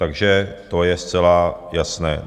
Takže to je zcela jasné.